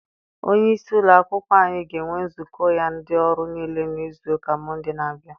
Onye isi ụlọ akwụkwọ anyị ga-enwe nzukọ ya na ndị ọrụ niile na izu ụka Mọnde na-abịa.